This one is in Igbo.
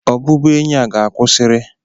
Ọbụbụenyi a ga-akwụsịri!